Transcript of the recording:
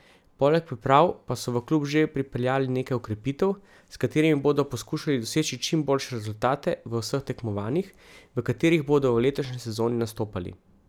Poleg priprav, pa so v klub že pripeljali nekaj okrepitev, s katerimi bodo poskušali doseči čim boljše rezultate v vseh tekmovanjih, v katerih bodo v letošnji sezoni nastopali.